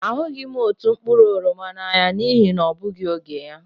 A hụghị m otu mkpụrụ oroma n'ahịa n'ihi na ọ bụghị oge ya.